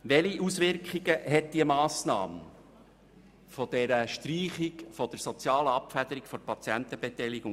Welche Auswirkungen hat die Massnahme der Streichung der sozialen Abfederung der Patientenbeteiligung?